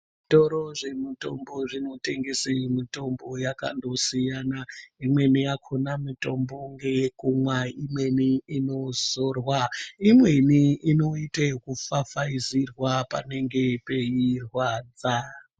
Zvitoro zvemutombo zvinotengese mjtombo yakandosiyana imweni yakona mitombo ngeyekumwa imweni inozorwa imweni inoite yekufafaizirwa panenge peirwadza